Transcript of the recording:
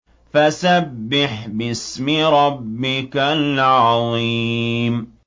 فَسَبِّحْ بِاسْمِ رَبِّكَ الْعَظِيمِ